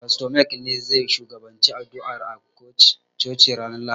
Fasto Maik ne zai shugabanci addu'a a coci ranar Lahadi.